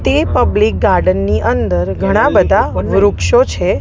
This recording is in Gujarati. તે પબ્લિક ગાર્ડન ની અંદર ઘણા બધા વૃક્ષો છે.